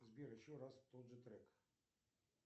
сбер еще раз тот же трек